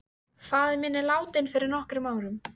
Faðir minn er látinn fyrir nokkrum árum.